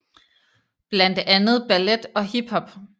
Blandt andet ballet og hip hop